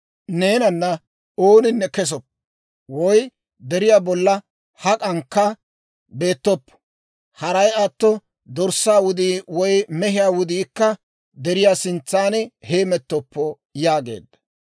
Neenana ooninne kesoppo; woy deriyaa bolla hak'ankka beettoppo; haray atto dorssaa wudii woy mehiyaa wudiikka deriyaa sintsaan heemettoppo» yaageedda.